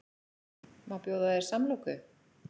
Má bjóða þér samloku?